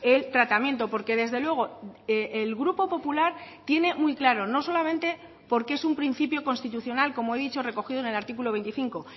el tratamiento porque desde luego el grupo popular tiene muy claro no solamente porque es un principio constitucional como he dicho recogido en el artículo veinticinco